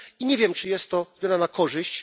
I nie wiem, czy jest to zmiana na korzyść.